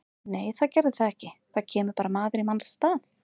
Nei það gerði það ekki, það kemur bara maður í manns stað.